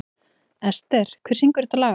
Ester, hver syngur þetta lag?